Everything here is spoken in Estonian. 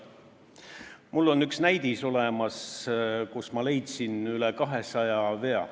Mul on üks näidis, kust ma leidsin üle 200 vea.